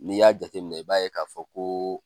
N'i y'a jate minɛ i b'a ye k'a fɔ ko